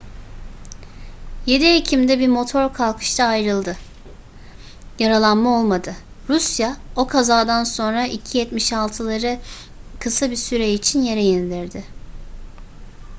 7 ekim'de bir motor kalkışta ayrıldı yaralanma olmadı rusya o kazadan sonra il-76'leri kısa bir süre için yere indirdi